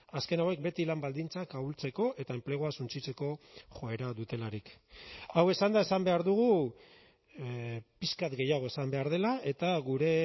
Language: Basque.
azken hauek beti lan baldintzak ahultzeko eta enplegua suntsitzeko joera dutelarik hau esanda esan behar dugu pixka bat gehiago esan behar dela eta gure